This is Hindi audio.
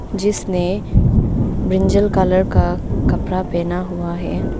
जिसने ब्रिंजल कलर का कपड़ा पहना हुआ है।